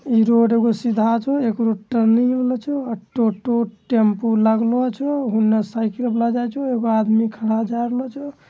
इ रोड एगो सीधा छे | एगो रोड टर्निंग वाला छे | टोटो टेम्पू लागलो छे होने साइकिल लगाइ छो | एगो आदमी खड़ा जा रहलो छो |